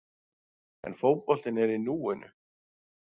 En fótboltinn er í núinu.